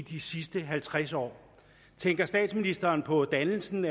de sidste halvtreds år tænker statsministeren på dannelsen